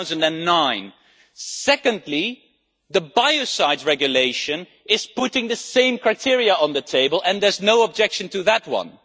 2009. Secondly, the Biocides Regulation is putting the same criteria on the table and there is no objection to that one.